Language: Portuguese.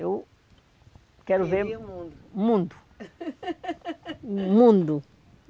Eu, queria o mundo, quero ver o mundo. o mundo